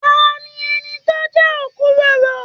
Tani ẹni tó n jẹ okuroro?